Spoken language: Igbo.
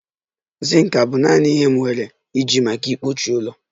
Zink abụ naanị ihe m nwere ike iji maka mkpuchi ụlọ?